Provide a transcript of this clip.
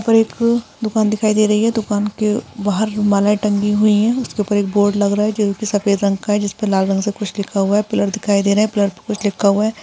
ऊपर एक दुकान दिखाई दे रही है दुकान के बाहर मालाएं टंगी हुई हैं उसके ऊपर एक बोर्ड लग रहा जोकी सफेद रंग का है जिसपे लाल रंग से कुछ लिखा हुआ है पिलर दिखाई दे रहे हैं पिलर पे कुछ लिखा हुआ है।